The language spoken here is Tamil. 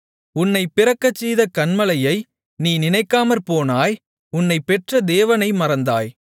உன்னை பிறக்கச் செய்த கன்மலையை நீ நினைக்காமற்போனாய் உன்னைப் பெற்ற தேவனை மறந்தாய்